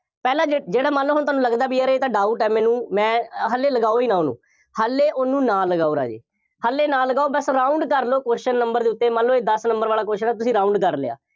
ਪਹਿਲਾਂ ਜਿਹੜੇ, ਜਿਹੜਾ ਮੰਨ ਲਓ ਹੁਣ ਤੁਹਾਨੂੰ ਲੱਗਦਾ ਬਈ ਯਾਰ ਇਹ ਤਾਂ doubt ਹੈ ਮੈਨੂੰ, ਮੈਂ, ਹਾਲੇ ਲਗਾਉ ਹੀ ਨਾ ਉਹਨੂੰ, ਹਾਲੇ ਉਹਨੂੰ ਨਾ ਲਗਾਉ ਰਾਜੇ, ਹਾਲੇ ਨਾ ਲਗਾਉ, ਬਸ round ਕਰ ਲਓ question number ਦੇ ਉੱਤੇ, ਮੰਨ ਲਓ ਦਸ number ਵਾਲਾ question ਹੈ, ਤੁਸੀਂ round ਕਰ ਲਿਆ।